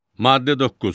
Maddə 9.